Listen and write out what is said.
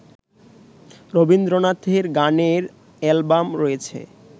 রবীন্দ্রনাথের গানের অ্যালবাম রয়েছে